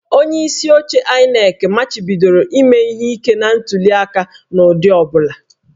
Onyeisi oche INEC machibidoro ime ihe ike na ntuliaka n'ụdị ọ bụla